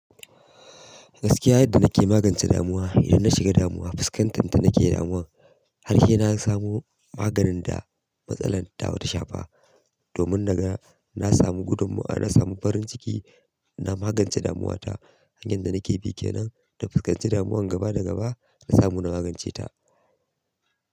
Gaskiya yadda na ke magance damuwa, idan na shiga damuwa, fuskantar ta nake damuwa, har se na samu maganin da matsalar ta shafe. Domin naga na samu farinciki na magance damuwa ta hanyar da na ke bi kenan ta fuskanci damuwan gaba da gaba da samu na magance ta.